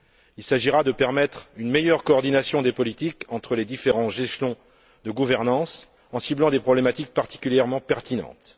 Il s'agira de permettre une meilleure coordination des politiques entre les différents échelons de gouvernance en ciblant des problématiques particulièrement pertinentes.